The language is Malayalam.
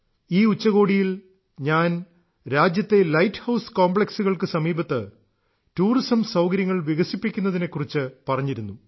ഈ ഉച്ചകോടിയിൽ ഞാൻ രാജ്യത്തെ ലൈറ്റ് ഹൌസ് കോംപ്ലക്സുകൾക്ക് സമീപത്ത് ടൂറിസം സൌകര്യങ്ങൾ വികസിപ്പിക്കുന്നതിനെ കുറിച്ച് പറഞ്ഞിരുന്നു